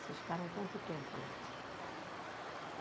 Vocês ficaram quanto tempo lá?